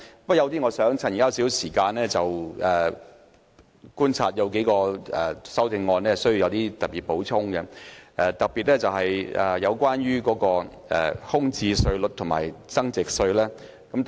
我想利用這些時間，按我的觀察就數項修正案作出補充，特別是關於住宅物業空置稅及物業增值稅的建議。